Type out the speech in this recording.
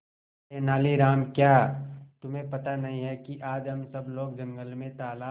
तेनालीराम क्या तुम्हें पता नहीं है कि आज हम सब लोग जंगल में तालाब